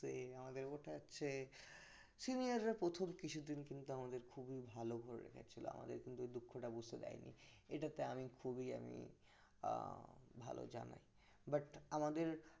তো এই আমাদের ওঠাচ্ছে senior যা প্রথম কিছুদিন কিন্তু আমাদের খুবই ভালো করে রেখেছিল আমাদের কিন্তু ওই দুঃখটা বুঝতে দেয়নি এটাতে আমি খুবই আমি ভালো জানাই but আমাদের